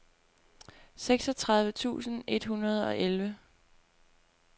seksogtredive tusind et hundrede og elleve